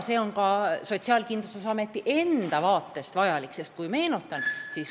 See on ka Sotsiaalkindlustusameti enda seisukohalt vajalik.